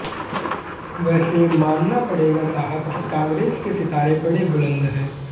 वैसे मानना पड़ेगा साहब कि कांग्रेस के सितारे बड़े बुलंद हैं